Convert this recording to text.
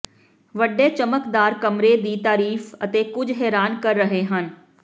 ਵੱਡੇ ਚਮਕਦਾਰ ਕਮਰੇ ਦੀ ਤਾਰੀਫ਼ ਅਤੇ ਕੁਝ ਹੈਰਾਨ ਕਰ ਰਹੇ ਹਨ